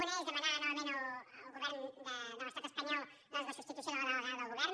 una és demanar novament al govern de l’estat espanyol la substitució de la delegada del govern